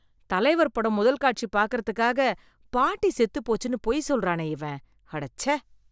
தலைவர் படம் முதல் காட்சி பார்க்கறதுக்காக பாட்டி செத்து போச்சுன்னு பொய் சொல்றானே இவன், அடச்சே.